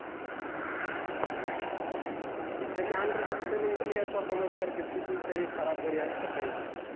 त्याच्या under मधी सगळे player performance करतायत किती जरी खराब जरी असला तरी पन